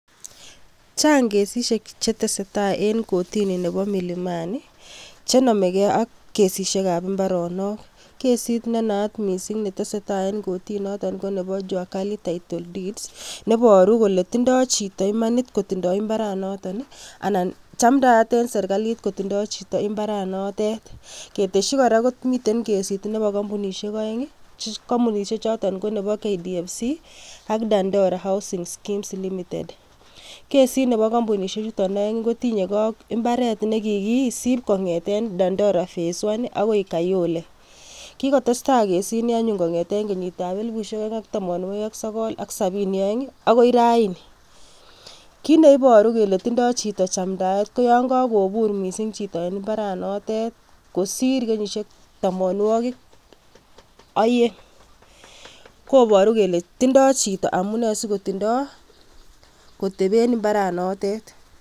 Chang kesisiek chetesetaa en kotini nebo Milimani chenomekee ak kesishekab imbaronok, kesit nenayat mising netesetaa en kotini noton konebo Jua Kali title deeds neboru Kole tindo chito imanit kotindo imbaraniton anan chamdaat en serikalit kotindo chito imbaranotet, keteshi kora komiten kesit nebo kombunishek oeng, kombunishek choton ko nebo KDFC ak dandora housing skeems limited, kesit nebo kombunishe chuton oeng kotinykee AK imbaret nekikisib kong'eten dondora face one akoi Kayole, kikotestai kesini anyun kong'eten kenyitab elibushek oeng ak tamonwokik sokol ak sobini oeng akoi raini, kiit neiboru kelee tindo chito chamdaet koyon ko kobur mising chito en imbaranotet kosir kenyishek tomonwokik oyeng, koboru kelee tindo chito amune sikotindo koteben imbaranotet.